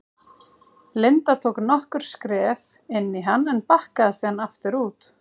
Linda tók nokkur skref inn í hann en bakkaði síðan aftur út.